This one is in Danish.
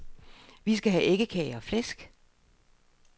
Vi skal have æggekage og flæsk.